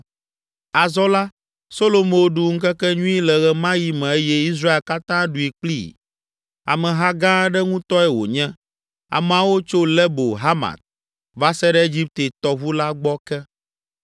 Azɔ la, Solomo ɖu ŋkekenyui le ɣe ma ɣi me eye Israel katã ɖui kplii. Ameha gã aɖe ŋutɔe wònye, ameawo tso Lebo Hamat va se ɖe Egipte tɔʋu la gbɔ ke.